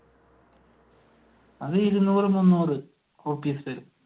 അത് ഇരുന്നൂറ് മുന്നൂറ്